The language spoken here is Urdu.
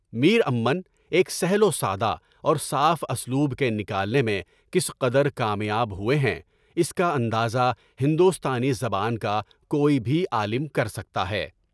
میر امن ایک سہل، وسادہ اور صاف اسلوب کے نکالنے میں کس قدر کامیاب ہوئے ہیں، اس کا اندازہ ہندوستانی زبان کا کوئی بھی عالم کر سکتا ہے۔